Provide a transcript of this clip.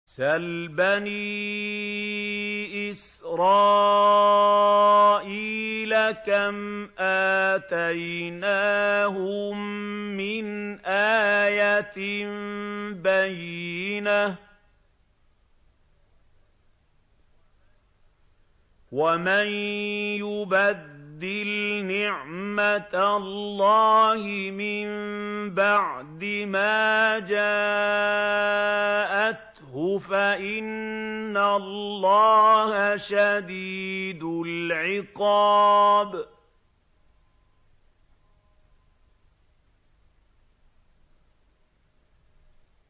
سَلْ بَنِي إِسْرَائِيلَ كَمْ آتَيْنَاهُم مِّنْ آيَةٍ بَيِّنَةٍ ۗ وَمَن يُبَدِّلْ نِعْمَةَ اللَّهِ مِن بَعْدِ مَا جَاءَتْهُ فَإِنَّ اللَّهَ شَدِيدُ الْعِقَابِ